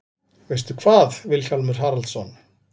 Veistu hvað, Vilhjálmur Haraldsson?